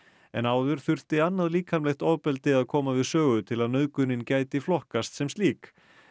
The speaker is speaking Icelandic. en áður þurfti annað líkamlegt ofbeldi að koma við sögu til að nauðgunin gæti flokkast sem slík